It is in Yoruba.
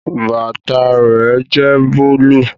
Bàtà rẹ jẹ́ búlúù